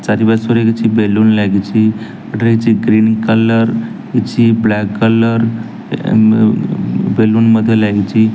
ଚାରିପାର୍ଶ୍ଵରେ କିଛି ବେଲୁନ ଲାଗିଛି ଏଠାରେ କିଛି ଗ୍ରୀନ କଲର କିଛି ବ୍ଲାକ କଲର ଏ ଉଁ ବେଲୁନ ମଧ୍ଯ ଲାଗିଛି।